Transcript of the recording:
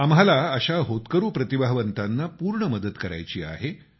आम्हाला अशा होतकरू प्रतिभावंतांना पूर्ण मदत करायची आहे